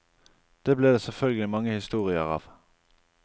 Det ble det selvfølgelig mange historier av.